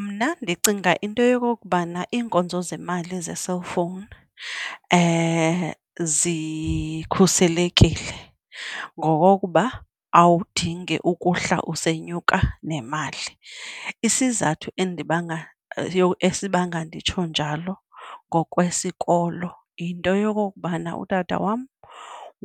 Mna ndicinga into yokokubana iinkonzo zemali ze-cellphone zikhuselekile ngokokuba awudingi ukuhla usenyuka nemali. isizathu endibanga yho esibanga nditsho njalo ngokwesikolo yinto yokokubana utata wam